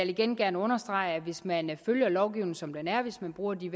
igen gerne understrege at hvis man følger lovgivningen som den er og hvis man bruger de